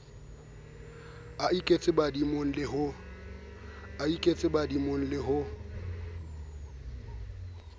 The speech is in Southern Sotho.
a iketse badimong le ho